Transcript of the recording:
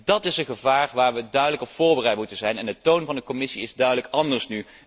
Dat is een gevaar waarop we duidelijk voorbereid moeten zijn en de toon van de Commissie is nu duidelijk anders.